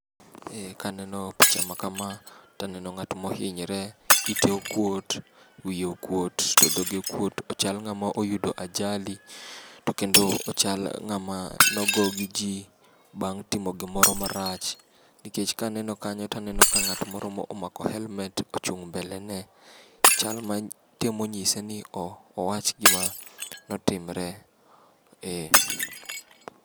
Eh kaneno picha makama, to aneno ng'at mohinyre. Ite okuot, wiye okuot to dhoge okuot. Ochal ng'ama oyudo ajali, to kendo ochal ng'ama nogo gi ji bang' timo gimoro marach. Nikech kaneno kanyo to aneno ka ng'at moro omako helmet, ochung' mbele ne, chal ma ni temo nyise ni owach gima ne otimore. Eh.